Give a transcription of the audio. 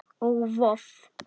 og Voff